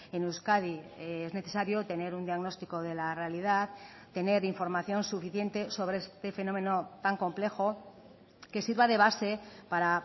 en euskadi es necesario tener un diagnóstico de la realidad tener información suficiente sobre este fenómeno tan complejo que sirva de base para